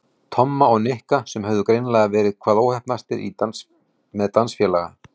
Tomma og Nikka sem höfðu greinilega verið hvað óheppnastir með dansfélaga.